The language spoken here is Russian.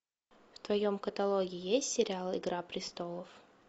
в твоем каталоге есть сериал игра престолов